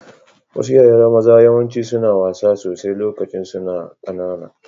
Wasu yara maza yawanci suna wasa sosai lokacin su na kananan